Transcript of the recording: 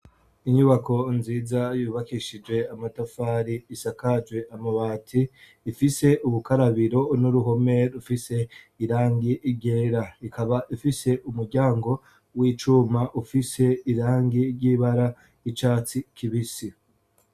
Inyubako nziza yubakishijwe amatafari isakajwe amabati ifise ubukarabiro n'uruhome rufise irangi ryera, ikaba ifise umuryango w'icuma ufise irangi ry'ibara y'icatsi kibisi.